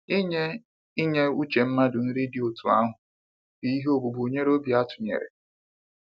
Inye Inye uche mmadụ nri dị otú ahụ bụ ihe ogbugbu nyere obi atụnyere.